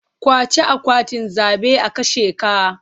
Ƙwace akwatin zabe a kashe ka.